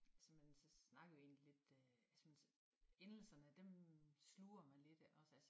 Altså man så snakker vi egentlig lidt øh så man sådan endelserne dem sluger man lidt eller altså